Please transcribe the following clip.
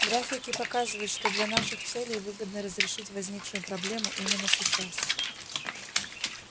графики показывают что для наших целей выгодно разрешить возникшую проблему именно сейчас